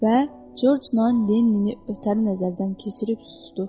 və Corc non Lennini ötəri nəzərdən keçirib susdu.